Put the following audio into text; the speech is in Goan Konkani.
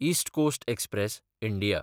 east Coast Express (India)